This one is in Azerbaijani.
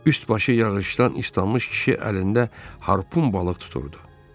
Üst başı yağışdan islanmış kişi əlində harpun balıq tuturdu.